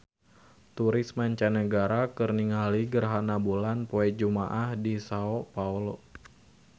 Turis mancanagara keur ningali gerhana bulan poe Jumaah di Sao Paolo